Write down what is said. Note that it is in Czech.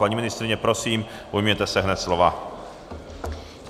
Paní ministryně, prosím, ujměte se hned slova.